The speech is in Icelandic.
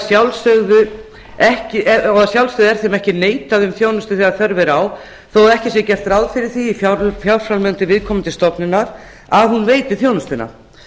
sjálfsögðu er þeim ekki neitað um þjónustu þegar þörf er á þó að ekki sé gert ráð fyrir því í fjárframlögum til viðkomandi stofnunar að hún veiti þjónustuna